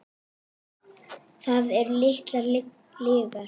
Það eru litlar lygar.